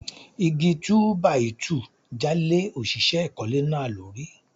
Igi Túbàìtuù já lé òṣìṣẹ́ ìkólé náà lórí.